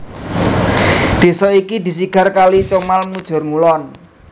Desa iki disigar kali Comal mujur ngulon